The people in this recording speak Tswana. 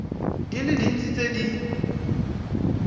di le dintsi tse di